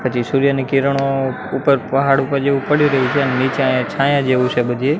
પછી સૂર્યની કિરણો ઉપર પહાડ ઉપર જેવુ પડી રહી છે અને નીચે અહિયા છાયા જેવુ છે બધે.